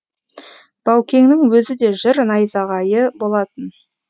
баукеңнің өзі де жыр найзағайы болатын